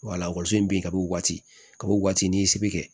bin ka bɔ waati kab'o waati ni se bɛ kɛ